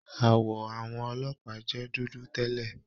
Àwọ àwọn ọlọ́pàá jẹ dúdú tẹlẹ.